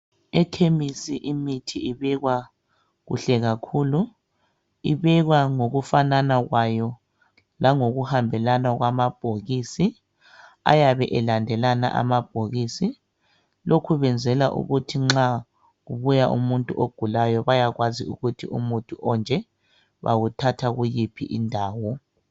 Ekhemesi imithi ibekwa kuhle kakhulu ibekwa ngokufanana kwayo langokuhambelana kwamabhokisi ayabe elandelana amabhokisi lokhu kwenzelwa ukuthi nxa kubuya umuntu ogulayo bayakwazi ukuthi umuthi onje bawuthatha kuyiphi indawo.